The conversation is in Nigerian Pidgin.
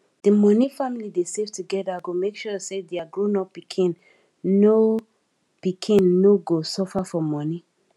di money family dey save together go make sure say their grownup pikin no pikin no go suffer for money